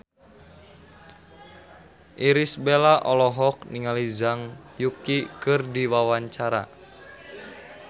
Irish Bella olohok ningali Zhang Yuqi keur diwawancara